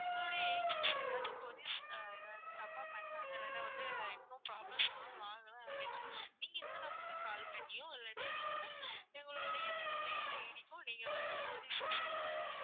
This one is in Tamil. எங்களுடைய agents ஏதாவது queries ஏதாவது தப்பா பண்ணிட்டாங்க இல்லனா வந்து இன்னும் problem solve ஆகல அப்படின்னா நீங்க இந்த number க்கு call பண்ணியோ இல்லாட்டி எங்களுக்கு எங்களுடைய mail ID க்கோ நீங்க வந்து queries அ send பண்ணலாம்